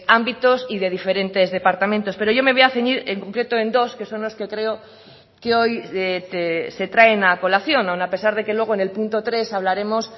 ámbitos y de diferentes departamentos pero yo me voy a ceñir en concreto en dos que son los que creo que hoy se traen a colación aun a pesar de que luego en el punto tres hablaremos